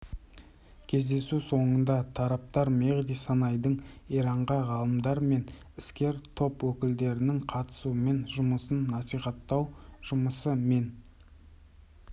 кездесу соңында тараптар мехди санаидың иранда ғалымдар мен іскер топ өкілдерінің қатысуымен жұмысын насихаттау жұмысы мен